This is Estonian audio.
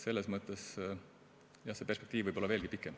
Selles mõttes, jah, see perspektiiv võib olla veelgi pikem.